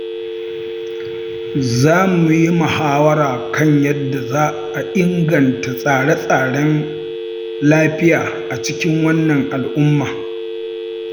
Za mu yi muhawara kan yadda za a inganta tsare-tsaren lafiya a cikin wannan al’umma.